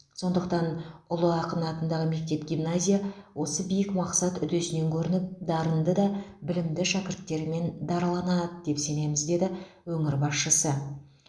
сондықтан ұлы ақын атындағы мектеп гимназия осы биік мақсат үдесінен көрініп дарынды да білімді шәкірттерімен дараланады деп сенеміз деді өңір басшысы